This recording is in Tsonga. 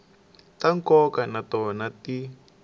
ta nkoka na tona ti